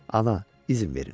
Ana, izin verin.